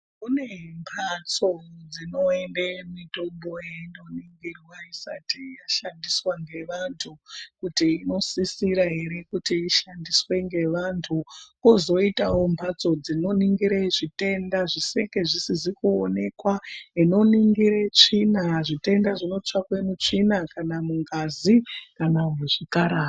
Kune mbatso dzinende mitombo yeindoningirwa isati yashandiswa nevantu kuti inosisira here kuti ishandiswe ngevantu. Kwozoitawo mbatso dzinoningira zvitenda zvinenge zvizisizi kuonekwa zvinoningire tsvina. Zvitenda zvinotsvakwe mutsvina kana mungazi kana muzvikararwa.